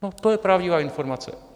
No, to je pravdivá informace.